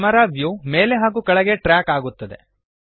camera view ಮೇಲೆ ಹಾಗೂ ಕೆಳಗೆ ಟ್ರ್ಯಾಕ್ ಆಗುತ್ತದೆ